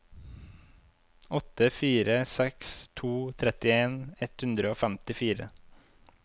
åtte fire seks to trettien ett hundre og femtifire